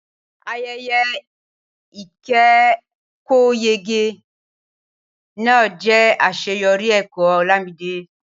Ayẹyẹ ìkẹ́kọ̀ọ́yege náà jẹ́ àṣeyọrí ẹ̀kọ́ Olamide.